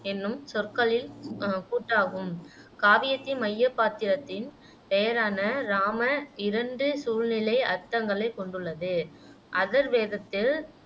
என்னும் சொற்களில் அஹ் கூட்டாகும் காவியத்தின் மையப் பாத்திரத்தின் பெயரான இராம இரண்டு சூழ்நிலை அர்த்தங்களைக் கொண்டுள்ளது அதர்வேதத்தில்